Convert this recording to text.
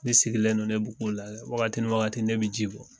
Ne sigilen do ne b'o k'u lajɛ wagati ni wagati ne bɛ ji bɔ.